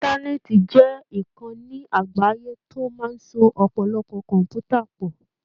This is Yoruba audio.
Íńtánẹ́ẹ̀tì jẹ́ ìkànni àgbáyé tó máa ń so ọ̀pọ̀lọpọ̀ kọ̀m̀pútà pọ̀.